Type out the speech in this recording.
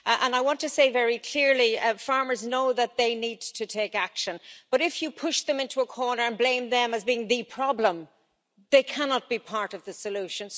I want to say very clearly that farmers know that they need to take action, but if you push them into a corner and blame as being the problem, they cannot be part of the solution.